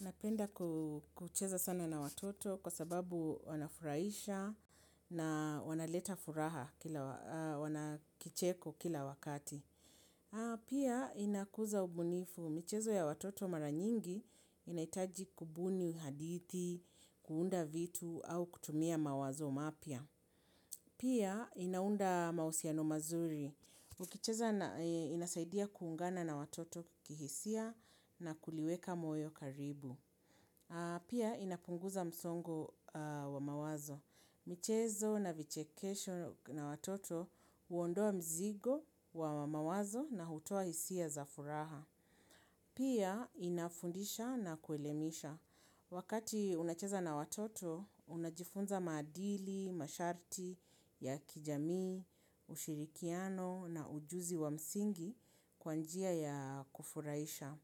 Napenda kucheza sana na watoto kwa sababu wanafuraisha na wanaleta furaha kicheko kila wakati. Pia inakuza ubunifu. Michezo ya watoto mara nyingi inaitaji kubuni haditi, kuunda vitu au kutumia mawazo mapia. Pia inaunda mausiano mazuri. Ukicheza inasaidia kuungana na watoto kuhisia na kuliweka moyo karibu. Pia inapunguza msongo wa mawazo. Michezo na vichekesho na watoto uondoa mzigo wa mawazo na hutoa hisia za furaha. Pia inafundisha na kuelemisha. Wakati unacheza na watoto, unajifunza madili, masharti, ya kijami, ushirikiano na ujuzi wa msingi kwa njia ya kufuraisha.